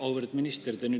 Auväärt minister!